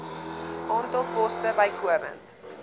aantal poste bykomend